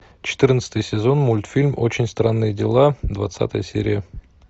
четырнадцатый сезон мультфильм очень странные дела двадцатая серия